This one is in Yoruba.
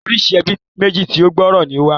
Oríṣi ẹbí méjì tí ó gbòòrò ni ó wà.